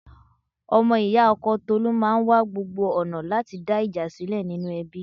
Ọmọ ì̀yá ọkọ Tolu máa wa gbogbo ọ̀nà láti dá ìjà sílẹ̀ nínú ẹbí.